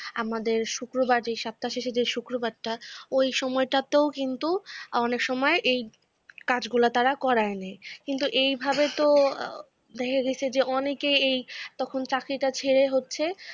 আমাদের শুক্রবার, সপ্তাহের শেষে যে শুক্রবারটা ওই সময়টাতে কিন্তু অনেক সময় এই কাজগুলো তারা করায়ে নেয়, কিন্তু এই ভাবে তো দেখা গেছে যে অনেকে এই তখন চাকরিটা ছেড়ে হচ্ছে